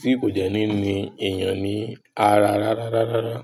tí kò jẹ́ níní èèyàn ní ara rárá rárá rárá.